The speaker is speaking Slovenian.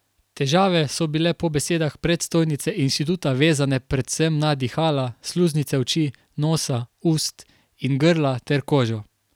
Težave so bile po besedah predstojnice inštituta vezane predvsem na dihala, sluznice oči, nosa, ust in grla ter kožo.